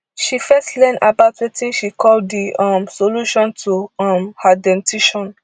she first learn about wetin she call di um solution to um her dentition